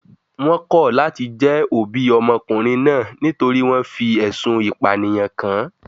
They rejected being the parents of the boy because he was accused of murder